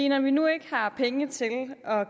når vi nu ikke har penge til at